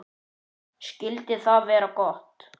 Skyldi það vera gott?